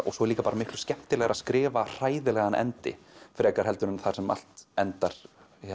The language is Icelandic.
svo er líka bara miklu skemmtilegra að skrifa hræðilegan endi frekar heldur en þar sem allt endar